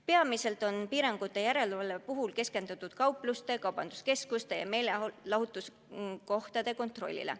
Peamiselt on piirangute täitmise järelevalvel keskendutud kaupluste, kaubanduskeskuste ja meelelahutuskohtade kontrollile.